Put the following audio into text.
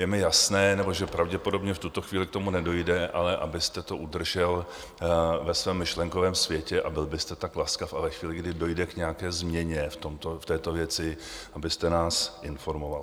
Je mi jasné, že pravděpodobně v tuto chvíli k tomu nedojde, ale abyste to udržel ve svém myšlenkovém světě a byl byste tak laskav a ve chvíli, kdy dojde k nějaké změně v této věci, abyste nás informoval.